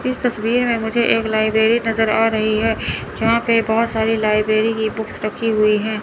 इस तस्वीर में मुझे एक लाइब्रेरी नजर आ रही है जहां पे बहोत सारी लाइब्रेरी की बुक्स रखी हुई है।